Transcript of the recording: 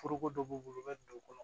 Foroko dɔ b'u bolo u bɛ don u kɔnɔ